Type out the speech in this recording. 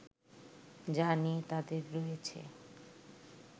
যা নিয়ে তাঁদের রয়েছে